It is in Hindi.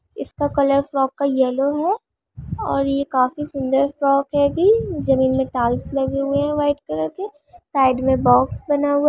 इसका कलर फ्रॉक का येल्लो है और ये काफी सुन्दर फ्रॉक है भी जमीन में टाइल्स लगे हुए हैं वाइट कलर के साइड में बॉक्स बना हुआ --